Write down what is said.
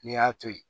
N'i y'a to yen